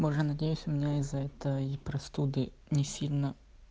боже надеюсь у меня из-за этой простуды не сильно